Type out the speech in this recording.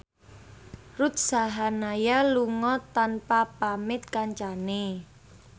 Ruth Sahanaya lunga tanpa pamit kancane